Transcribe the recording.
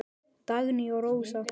Dagný og Rósa.